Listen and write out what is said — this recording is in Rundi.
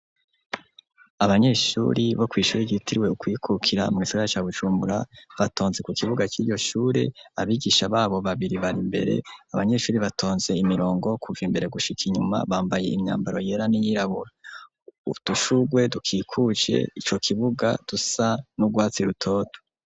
Abanyeshuri bo kw'ishuri ryitiriwe ukwikukira mugisagara ca Bujumbura batonze ku kibuga cyiryo shure abigisha babo babiri bari mbere abanyeshuri batonze imirongo kuva imbere gushika inyuma bambaye imyambaro yera n'iyirabura utushugwe dukikuce icyo kibuga dusa n'ubwatsi rutoto.